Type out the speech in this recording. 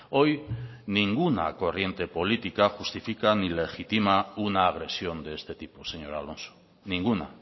hoy ninguna corriente política justifica ni legitima una agresión de este tipo señor alonso ninguna